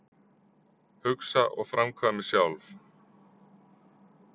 Hugsa og framkvæmi sjálf